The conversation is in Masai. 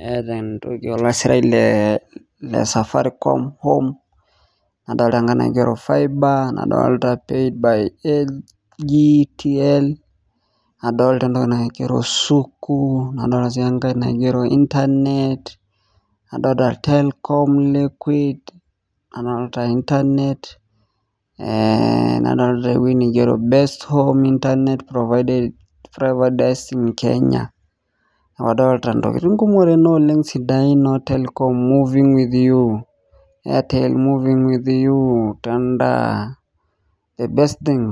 naata osirata le safaricom nadoolta sii enkae naigero noo telcom moving with you tender internet neeku adolta intokiting kumook oleng tene sidain